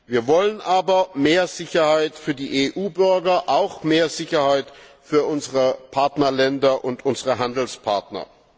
Wir wollen aber mehr Sicherheit für die EU Bürger und auch mehr Sicherheit für unsere Partnerländer und unsere Handelspartner.